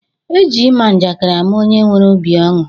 E ji ima njakịrị ama onye nwere obi ọṅụ